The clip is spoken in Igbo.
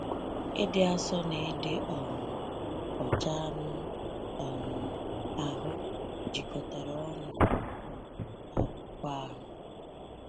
Ịdị asọ na ịdị um ọcha anụ um ahụ jikọtara ọnu um n’akwụkwọ ahụ.